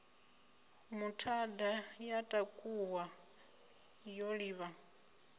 muthada ya takuwa yo livha